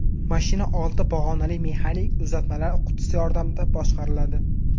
Mashina olti pog‘onali mexanik uzatmalar qutisi yordamida boshqariladi.